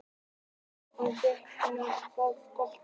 Alltaf stórhættulegur þegar hann fær boltann.